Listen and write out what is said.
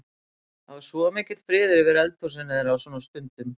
Það var svo mikill friður yfir eldhúsinu þeirra á svona stundum.